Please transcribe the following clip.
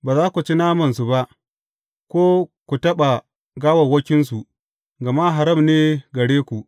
Ba za ku ci namansu ba, ko ku taɓa gawawwakinsu, gama haram ne gare ku.